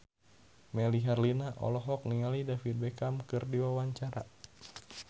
Melly Herlina olohok ningali David Beckham keur diwawancara